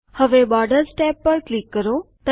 હવે borders tab પર click કરો